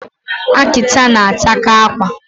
Akita na-ataka akwa